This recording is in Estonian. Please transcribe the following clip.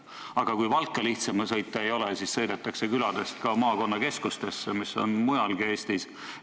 Aga kui Valka ka lihtsam sõita ei ole, siis sõidetakse küladest maakonnakeskustesse, mida on mujalgi Eestis.